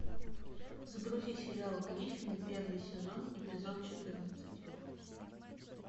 загрузи сериал гриффины первый сезон эпизод четырнадцать